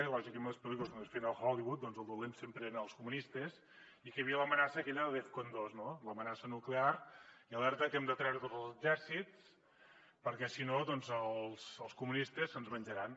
i lògicament les pel·lícules com que les feien a hollywood doncs els dolents sempre eren els comunistes i hi havia l’amenaça aquella de defcon dos no l’amenaça nuclear i alerta que hem de treure tots els exèrcits perquè si no els comunistes se’ns menjaran